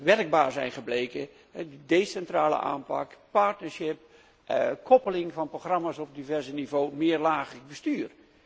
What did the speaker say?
werkbaar zijn gebleken decentrale aanpak, partnerschap, koppeling van programma's op diverse niveaus, meerlagig bestuur.